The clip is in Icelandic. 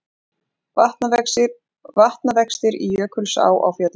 Vatnavextir í Jökulsá á Fjöllum